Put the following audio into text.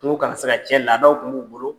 Kungo kana se ka cɛn, laadaw kun b'u bolo.